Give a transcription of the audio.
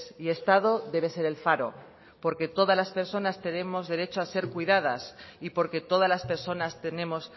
y estado debe ser el faro porque todas las personas tenemos derecho a ser cuidadas y porque todas las personas tenemos